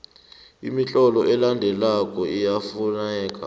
imitlolo elandelako iyafuneka